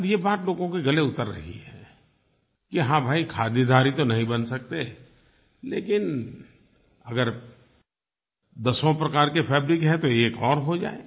और ये बात लोगों के गले उतर रही है कि हाँ भई खादीधारी तो नहीं बन सकते लेकिन अगर दसों प्रकार के फैब्रिक हैं तो एक और हो जाए